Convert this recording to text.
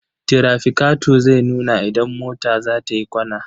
Tirafikato zai nuna idan mota za ta yi kwana.